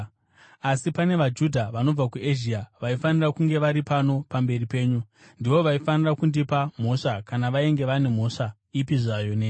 Asi pane vaJudha vanobva kuEzhia, vaifanira kunge vari pano pamberi penyu, ndivo vaifanira kundipa mhosva kana vainge vane mhosva ipi zvayo neni.